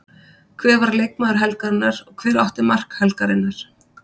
Hver var leikmaður helgarinnar og hver átti mark helgarinnar?